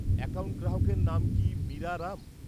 Account গ্রাহকের নাম কি মীরা রাম?